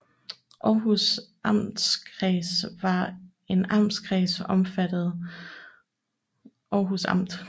Århus Amtskreds var en amtskreds omfattende Århus Amt